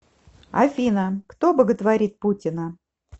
афина кто боготворит путина